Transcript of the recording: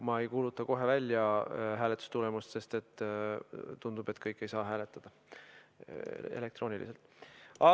Ma ei kuuluta hääletustulemust kohe välja, sest tundub, et kõik ei saa elektrooniliselt hääletada.